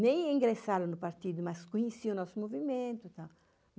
Nem ingressaram no partido, mas conheci o nosso movimento e tal.